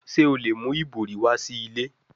Ṣe o le mu ibori wa si ile?